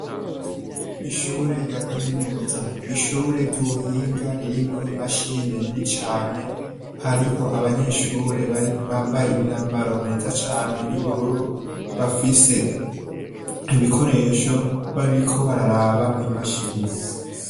Ishure rya kaminuza. Ishure ry'ubuhinga ririmwo imashini nini cane, hariho abanyeshure bambaye imyambaro myiza cane y'ubururu, bafise ibikoresho, bariko bararaba mw' iyo mashini